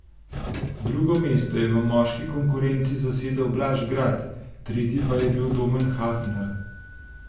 Drugo mesto je v moški konkurenci zasedel Blaž Grad, tretji pa je bil Domen Hafner.